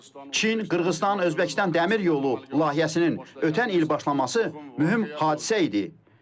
Çin, Qırğızıstan, Özbəkistan dəmir yolu layihəsinin ötən il başlaması mühüm hadisə idi.